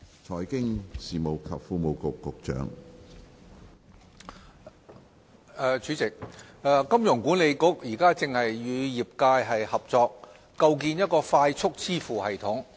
主席，一香港金融管理局現正與業界合作，構建快速支付系統。